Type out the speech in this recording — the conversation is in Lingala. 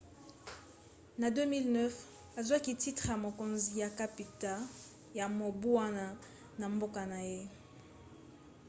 na 2009 azwaki titre ya mokonzi ya kapita ya mobu wana na mboka na ye